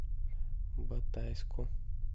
батайску